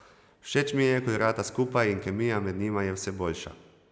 Všeč mi je, ko igrata skupaj in kemija med njima je vse boljša.